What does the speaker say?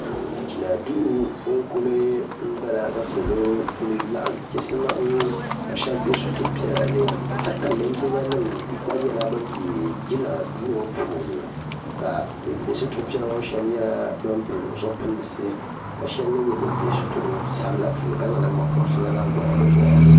Jinaduu n-kuli bala ka sokam kuli laɣim chisimaam ka shɛba be situr' piɛla ni hali ka linjimanima ɡba nyɛ ban be jinaduu ŋɔ puuni ka ban be situr' piɛla ŋɔ puuni shɛba nyɛ ban pili zipilisi ka shɛba mi nyɛ ban be situr' sabila puuni ka zaŋ naŋɡbampɔbirisi ɡɔhi bɛ nɔya